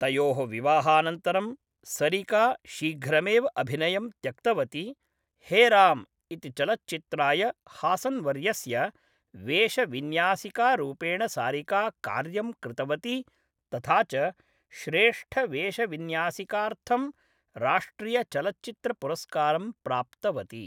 तयोः विवाहानन्तरं सरिका शीघ्रमेव अभिनयं त्यक्तवती, हे राम् इति चलच्चित्राय हासन्वर्यस्य वेषविन्यासिकारूपेण सारिका कार्यं कृतवती तथा च श्रेष्ठवेषविन्यासिकार्थं राष्ट्रियचलच्चित्रपुरस्कारं प्राप्तवती।